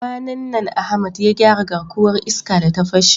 Kwanan nan Ahmad ya gyara garkuwar iska da ta fashe.